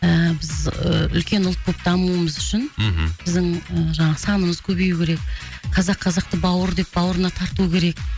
ы біз ыыы үлкен ұлт болып дамуымыз үшін мхм біздің жаңағы санымыз көбеюі керек қазақ қазақты бауыр деп бауырына тарту керек